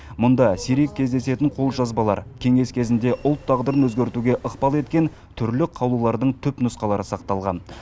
мұнда сирек кездесетін қолжазбалар кеңес кезінде ұлт тағдырын өзгертуге ықпал еткен түрлі қаулылардың түпнұсқалары сақталған